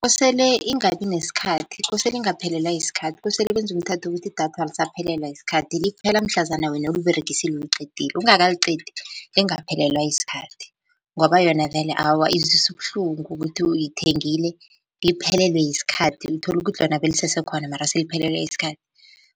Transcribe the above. Kosele ingabi nesikhathi, kosele ingaphelelwa yisikhathi, kosele kwenziwe umthetho wokuthi idatha alisaphelela yisikhathi, liphela mhlazana wena uliberegisile uliqedile ungakaliqedi lingaphelelwa yisikhathi. Ngoba yona vele awa iziswa ubuhlungu ukuthi uyithengile liphelelwe yisikhathi uthola ukuthi lona belisesekhona mara seliphelelwe yisikhathi.